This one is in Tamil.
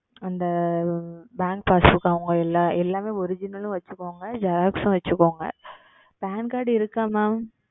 அந்த Bank Passbook அவர்களுடைய எல்லாம் எல்லாமே Original உம் வைத்து கொள்ளுங்கள் Xerox உம் வைத்து கொள்ளுங்கள் Pan Card இருக்கிறதா Mam